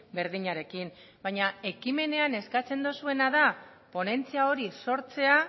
berdinarekin baina ekimenean eskatzen duzuena da ponentzia hori sortzea